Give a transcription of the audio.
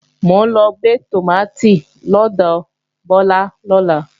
Mò ń lọ gbé tòmátì lọ́dọ̀ Bọ́lá lọ́la